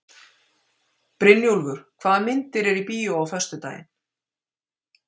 Brynjúlfur, hvaða myndir eru í bíó á föstudaginn?